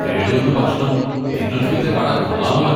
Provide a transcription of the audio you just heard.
കേടുവന്ന ഭക്ഷണം നിങ്ങൾക്ക് വിറ്റ കട കൊള്ളാമല്ലോ!